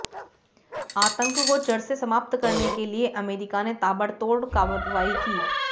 आतंक को जड़ से समाप्त करने के लिए अमेरिका ने ताबड़तोड़ कार्रवाई की